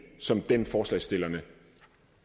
som den forslagsstillerne